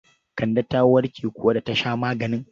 Kande ta warke kuwa da ta sha maganin?